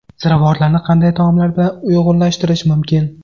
Ziravorlarni qanday taomlar bilan uyg‘unlashtirish mumkin?.